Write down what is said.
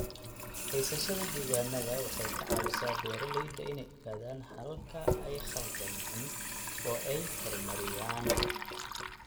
Haysashada diiwaanada waxay ka caawisaa beeralayda inay ogaadaan halka ay khaldameen oo ay horumariyaan.